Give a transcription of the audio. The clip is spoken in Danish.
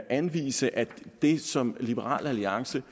anvise at det som liberal alliance